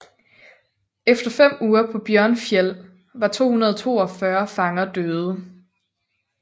Efter fem uger på Bjørnfjell var 242 fanger døde